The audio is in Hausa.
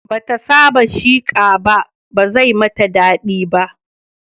Bata saba da sheqa ba, ba zai mata daɗi ba